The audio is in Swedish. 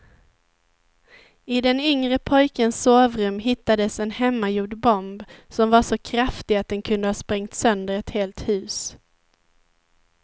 I den yngre pojkens sovrum hittades en hemmagjord bomb som var så kraftig att den kunde ha sprängt sönder ett helt hus.